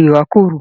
ìrákòrò.